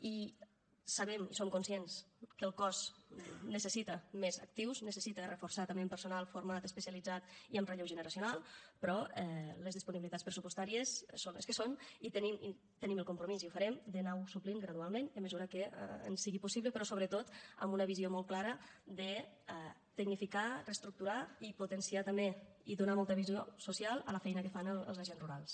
i sabem i som conscients que el cos necessita més actius necessita reforçar se també amb personal format especialitzat i amb relleu generacional però les disponibilitats pressupostàries són les que són i tenim el compromís i ho farem d’anar ho suplint gradualment a mesura que ens sigui possible però sobretot amb una visió molt clara de tecnificar reestructurar i potenciar també i donar molta visió social a la feina que fan els agents rurals